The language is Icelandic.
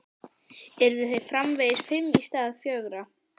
Yrðu þeir framvegis fimm í stað fjögurra?